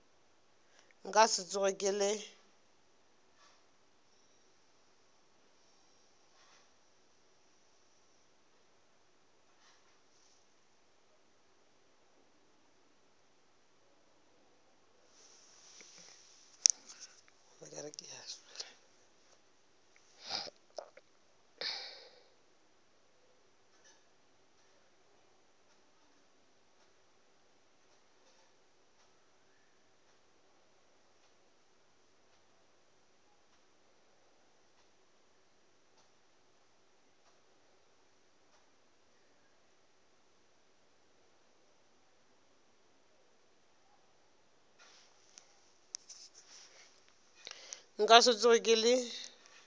nka se tsoge ke le